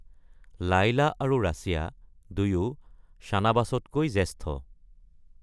লায়লা আৰু ৰাছিয়া, দুয়ো চানবাছতকৈ জ্যেষ্ঠ।